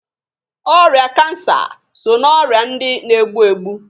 Ọrịa Kansa so na ọrịa ndị na-egbu egbu.